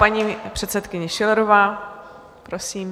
Paní předsedkyně Schillerová, prosím.